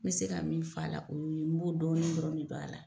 N mɛ se ka min fɔ la, o' ye n b'o dɔɔnin dɔrɔn de don a la.